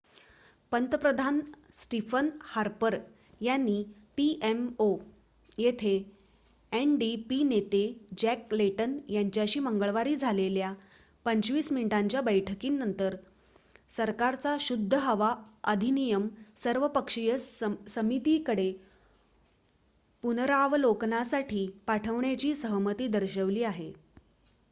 पंतप्रधान Stephen Harper यांनी pmo येथे ndp नेते जॅक लेटन यांच्याशी मंगळवारी झालेल्या 25 मिनिटांच्या बैठकीनंतर सरकारचा शुद्ध हवा अधिनियम' सर्वपक्षीय समितीकडे पुनरावलोकनासाठी पाठवण्याची सहमती दर्शवली आहे